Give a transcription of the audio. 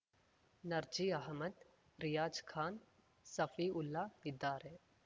ನರ್ಜಿ ಆಹಮದ್‌ ರಿಯಾಜ್‌ ಖಾನ್‌ ಸಫಿ ಉಲ್ಲಾ ಇದ್ದಾರೆ